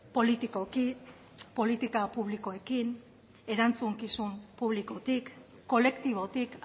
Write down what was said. politikoki politika publikoekin erantzukizun publikotik kolektibotik